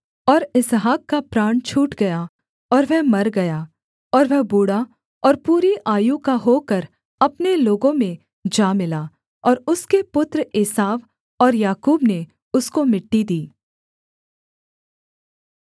और इसहाक का प्राण छूट गया और वह मर गया और वह बूढ़ा और पूरी आयु का होकर अपने लोगों में जा मिला और उसके पुत्र एसाव और याकूब ने उसको मिट्टी दी